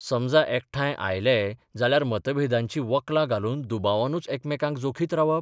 समजा एकठांय आयलेय जाल्यार मतभेदांचीं वक्लां घालून दुबावानूच एकामेकांक जोखीत रावप?